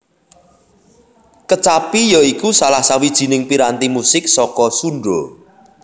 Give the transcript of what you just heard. Kecapi ya iku salah sawijining piranti musik saka Sunda